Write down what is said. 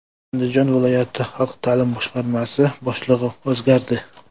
Andijon viloyat xalq ta’lim boshqarmasi boshlig‘i o‘zgardi.